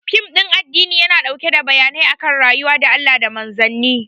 Fim ɗin addini yana ɗauke da bayanai akan rayuwa da Allah da Manzanni